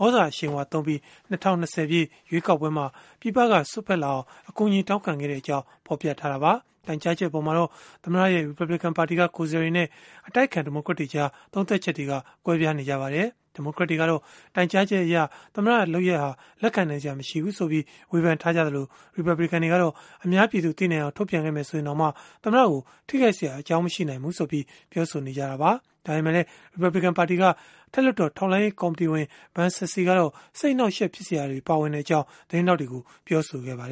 ဟာ သြဇာအရှိန်အဝါသုံးပြီး ၂၀၂၀ ပြည့် ရွေးကောက်ပွဲမှာ ပြည်ပက စွက်ဖက်လာအောင် အကူအညီ တောင်းခဲ့ကြောင်း ဖော်ပြထားတာပါ။ တိုင်ကြားချက် အပေါ်မှာတော့ သမ္မတရဲ့ ရီပတ်ဘလစ်ကန်ပါတီက ကိုယ်စားလှယ်တွေနဲ့ အတိုက်အခံ ဒီမိုကရက်တွေကြား သုံးသပ်ချက်တွေ ကွဲပြားနေကြတာပါ။ ဒီမိုကရက်တွေကတော့ တိုင်ကြားချက်အရ သမ္မတလုပ်ရပ်ဟာ လက်ခံနိုင်စရာ မရှိဘူးဆိုပြီး ဝေဖန်ခဲ့ကြသလို၊ ရီပတ်ဘလစ်ကန်တွေကတော့ အများပြည်သူ သိနိုင်အောင် ထုတ်ပြန်ခဲ့မယ် ဆိုရင်တောင် သမ္မတကို ထိခိုက်စရာ မရှိနိုင်ဘူးဆိုပြီး ပြောဆိုခဲ့ကြပါတယ်။ ဒါပေမဲ့လည်း ရီပတ်ဘလစ်ကန်ပါတီက အထက်လွှတ်တော် ထောက်လှမ်းရေး ကော်မတီဝင် Ben Sasse ကတော့ စိတ်အနှောက်အယှက် ဖြစ်စရာကိစ္စတွေ ပါဝင်ကြောင်း သတင်းထောက်တွေကို ပြောခဲ့တာပါ။